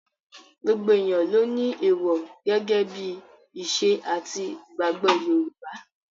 Gbogbo èèyàn ló ni èèwò gẹ́gẹ́ bí ìṣe àti ìgbàgbọ́ Yorùbá.